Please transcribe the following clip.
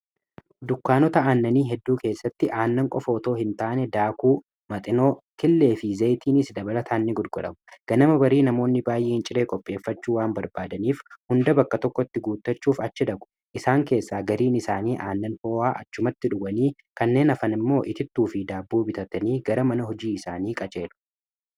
Dukkaanota aannanii hedduu keessatti aannan qofa otoo hin taane daakuu, maxinoo, killee fi zeeyitiiniis dabalataan ni gurguramu. Ganama barii namoonni baay'een ciree qopheeffachuu waan barbaadaniif hunda bakka tokkotti guutachuuf achi dhaqu. Isaan keessaa gariin isaanii aannan ho'aa achumatti dhuganii kanneen hafan immoo itittuu fi daabboo bitatanii gara mana hojii isaanii qajeelu.